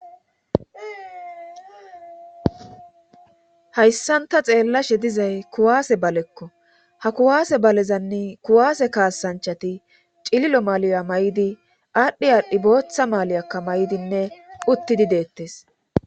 hayssanta xeellashe dizay kuwaase balekko ha kuwaase balezanne kuwaase kaasanchati cililo maaliya may7idi aadhdhi aadhdhi booththa maaliyakka may7idinne uttidi deettes